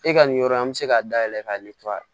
E ka nin yɔrɔ in an mi se ka dayɛlɛ k'a